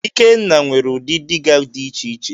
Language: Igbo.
Ikenna nwere udi dịga di iche iche.